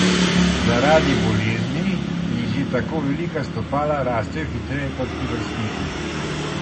Zaradi bolezni ji že tako velika stopala rastejo hitreje kot pri vrstnikih.